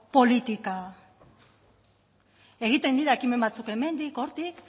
politika egiten dira ekimen batzuk hemendik hortik